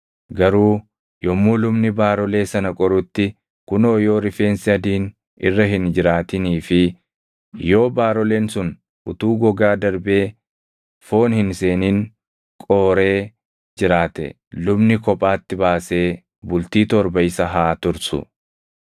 Garuu yommuu lubni baarolee sana qorutti, kunoo yoo rifeensi adiin irra hin jiraatinii fi yoo baaroleen sun utuu gogaa darbee foon hin seenin qooree jiraate lubni kophaatti baasee bultii torba isa haa tursu.